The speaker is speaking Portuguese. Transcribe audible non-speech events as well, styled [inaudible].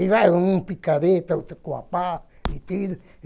E vai um com picareta, outro com a pá, e [unintelligible]